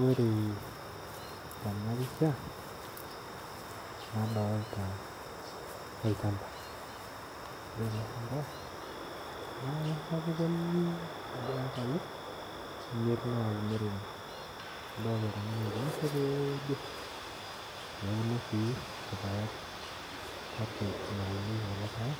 Ore tena pisha nadolta olchamba ore ele shamba naa sapuk oleng' ajo ke iyakai imiet nauono neuno sii irpaek kake enaunieki kulo paek